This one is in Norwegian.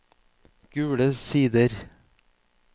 Gule Sider